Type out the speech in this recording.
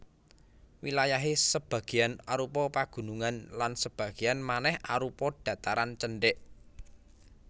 Wilayahé sebagéyan arupa pagunungan lan sebagéyan manèh arupa dhataran cendhèk